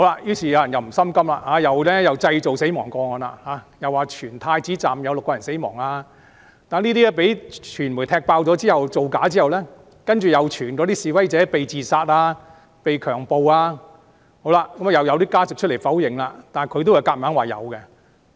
於是，有人不甘心，製造死亡個案，傳言太子站有6人死亡，當被傳媒踢爆造假後，又傳有示威者被自殺、被強暴，即使有家屬否認，但他們仍強說確有其事。